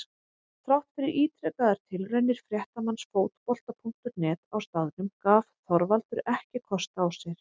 Þrátt fyrir ítrekaðar tilraunir fréttamanns Fótbolta.net á staðnum gaf Þorvaldur ekki kost á sér.